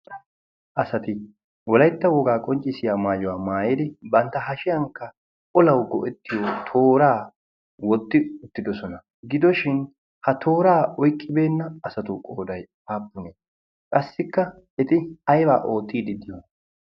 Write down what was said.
asati wolaitta wogaa qonccissiya maayuwaa maayeri bantta hashiyankka olawu go7ettiyo tooraa wotti uttidosona. gidoshin ha tooraa oiqqibeenna asatu qoodai aappunee? qassikka eti aibaa oottiidi di7o?